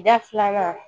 Da filanan